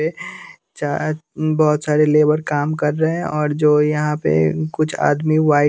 ये यहां बहुत सारे लेबर काम कर रहे हैं और जो यहां पे कुछ आदमी व्हाइट --